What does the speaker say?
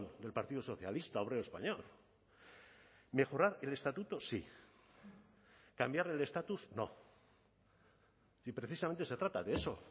del partido socialista obrero español mejorar el estatuto sí cambiar el estatus no y precisamente se trata de eso